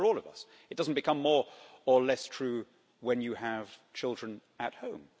That's true for all of us, it doesn't become more or less true when you have children at home.